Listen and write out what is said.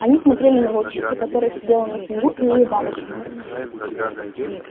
они смотрели на волчицу которая сидела на снегу и улыбалась им